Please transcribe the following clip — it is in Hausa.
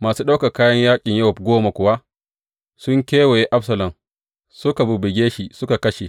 Masu ɗaukan kayan yaƙin Yowab goma kuwa sun kewaye Absalom, suka bubbuge shi suka kashe.